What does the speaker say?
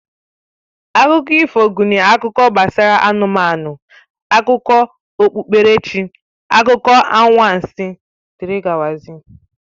Akụkọ ifo gụnyere akụkọ gbasara anụmanụ, akụkọ okpukperechi, akụkọ anwansị wdg